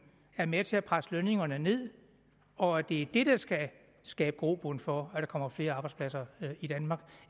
er med til at presse lønningerne ned og at det er det der skal skabe grobund for der kommer flere arbejdspladser i danmark